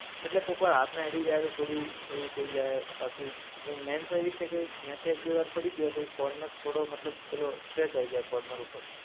એટલે કોક વાર હાથને અડી જાય તો થોડું થઇ જાય. બાકી જો મૈન તો ઇજ છે કે પડી ગ્યો, તો ઇ કોર્નર થોડો મતલબ પેલો સ્ક્રેચ આવી જાય કોર્નર ઉપર.